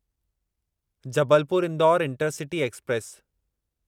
Jabalpur Indore intercity express